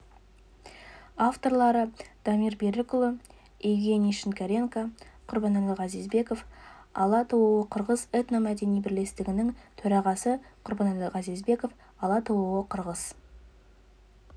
авторлары дамир берікұлы евгений шинкаренко құрбанәлі газизбеков ала-тоо қырғыз этно-мәдени бірлестігінің төрағасы құрбанәлі газизбеков ала-тоо қырғыз